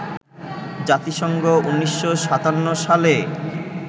জাতিসংঘ ১৯৫৭ সালে